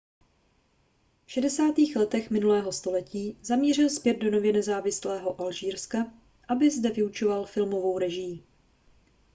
v 60. letech minulého století zamířil zpět do nově nezávislého alžírska aby zde vyučoval filmovou režii